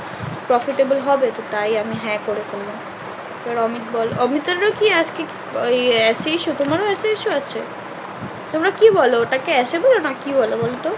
Profitable হবে তো তাই আমি হ্যাঁ করে ফেললাম। এবার অমিত বলো অমিতের ও কি আজকে কি ওই আহ সেই এর issue আছে তোমরা কি বলো ওটা কে asabel না কি বল বলো তো?